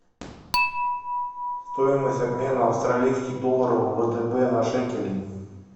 стоимость обмена австралийских долларов в втб на шекели